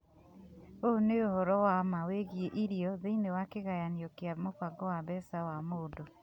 Ũũ nĩ ũhoro wa ma wĩgiĩ irio thĩinĩwa kĩganyanio kĩa mũbango wa mbeca wa mundu